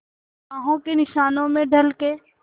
बाहों के निशानों में ढल के